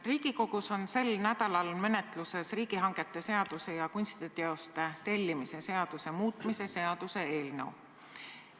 Riigikogus on sel nädalal menetluses riigihangete seaduse ja kunstiteoste tellimise seaduse muutmise seaduse eelnõu.